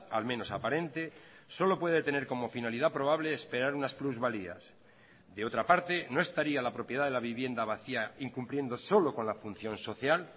al menos aparente solo puede tener como finalidad probable esperar unas plusvalías de otra parte no estaría la propiedad de la vivienda vacía incumpliendo solo con la función social